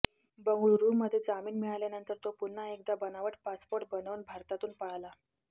बंगळुरूमध्ये जामीन मिळाल्यानंतर तो पुन्हा एकदा बनावट पासपोर्ट बनवून भारतातून पळाला